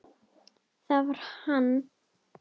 Það var hann!